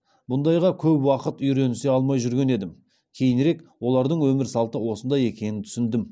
бұндайға көп уақыт үйренісе алмай жүрген едім кейінірек олардың өмір салты осындай екенін түсіндім